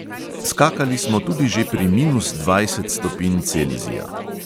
Skakali smo tudi že pri minus dvajset stopinj celzija.